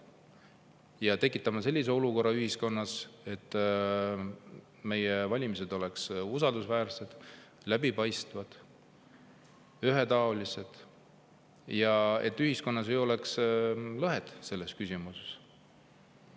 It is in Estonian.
Me peame tekitama sellise olukorra ühiskonnas, et meie valimised oleksid usaldusväärsed, läbipaistvad, ühetaolised ja et ühiskonnas ei oleks lõhet selles küsimuses.